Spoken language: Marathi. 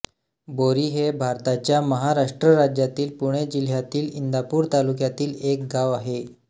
बोरी हे भारताच्या महाराष्ट्र राज्यातील पुणे जिल्ह्यातील इंदापूर तालुक्यातील एक गाव आहे